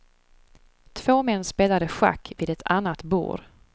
Två män spelade schack vid ett annat bord.